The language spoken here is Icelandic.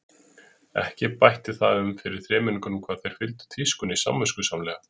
Ekki bætti það um fyrir þremenningunum hvað þeir fylgdu tískunni samviskusamlega.